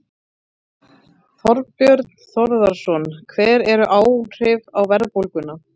Þorbjörn Þórðarson: Hver eru áhrifin á verðbólguna?